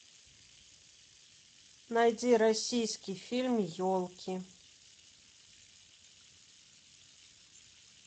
найди российский фильм елки